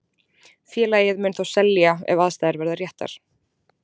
Félagið mun þó selja ef aðstæður verða réttar.